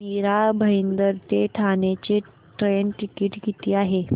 मीरा भाईंदर ते ठाणे चे train ticket किती आहे